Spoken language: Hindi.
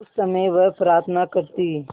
उस समय वह प्रार्थना करती